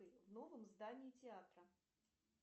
в новом здании театра